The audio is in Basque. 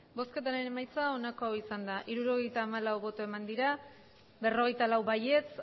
botoak hirurogeita hamalau bai berrogeita lau ez